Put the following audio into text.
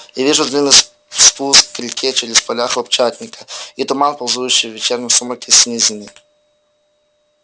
и вижу длинный спуск к реке через поля хлопчатника и туман ползущий в вечернем сумраке с низины